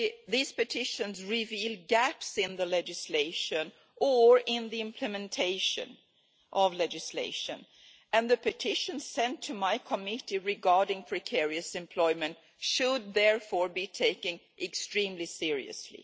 These petitions reveal gaps in the legislation, or in the implementation of legislation, and the petitions sent to my committee regarding precarious employment should therefore be taken extremely seriously.